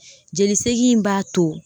Jolisegin in b'a to